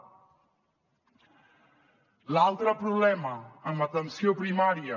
l’altre problema amb atenció primària